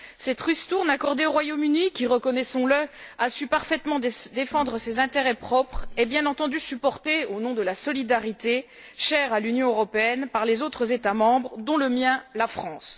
Cette ristourne accordée au Royaume Uni, qui, reconnaissons le, a parfaitement su défendre ses intérêts propres, est bien entendu supportée, au nom de la solidarité chère à l'Union européenne, par les autres États membres, dont le mien la France.